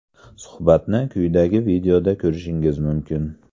Suhbatni quyidagi videoda ko‘rishingiz mumkin.